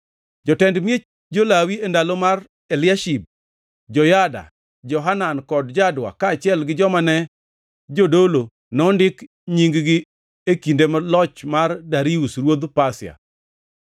Jotend miech jo-Lawi e ndalo mar Eliashib; Joyada, Johanan kod Jadua, kaachiel gi joma ne jodolo, nondik nying-gi e kinde loch mar Darius ruodh Pasia.